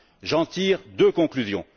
J'en tire deux conclusions.